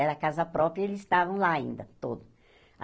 Era casa própria e eles estavam lá ainda todos.